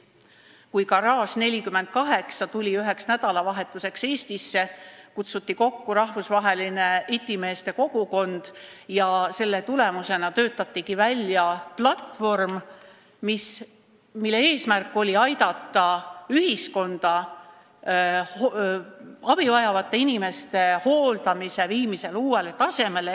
Kui Garage48 tuli üheks nädalavahetuseks Eestisse, kutsuti kokku rahvusvaheline itimeeste kogukond ja selle tulemusena töötatigi välja platvorm, mille eesmärk oli aidata ühiskonnal viia abi vajavate inimeste hooldamine uuele tasemele.